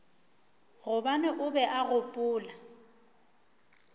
gobane o be a gopola